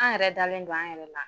An yɛrɛ dalen don an yɛrɛ la.